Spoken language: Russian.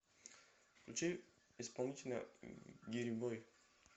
включи исполнителя гирибой